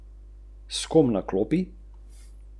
O, Marička, včasih je bil čisti šov!